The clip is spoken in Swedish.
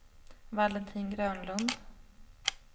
Valentin Grönlund